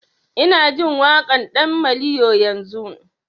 Ina jin waƙan ɗan maliyo yanzun